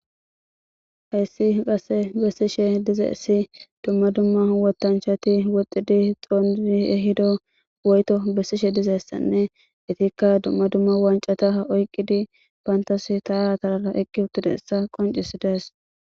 Hassi qasse bessishe dizayssi dumma dumma wothanchatti woxxidi xoniddi eyiddo woytto besishe dizayssanne ettikka dumma dumma wanccata oyqqiddi bantta sinttara tararra oyqqi uttiddayssa qonccisidees